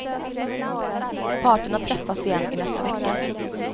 Parterna träffas igen i nästa vecka.